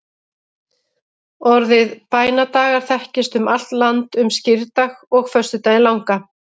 Orðið bænadagar þekkist um allt land um skírdag og föstudaginn langa.